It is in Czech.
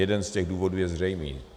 Jeden z těch důvodů je zřejmý.